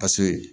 A so in